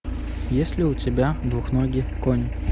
есть ли у тебя двуногий конь